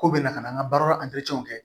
Ko bɛna ka na an ka baara kɛ